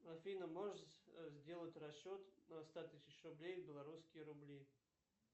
афина можешь сделать расчет на ста тысяч рублей в белорусские рубли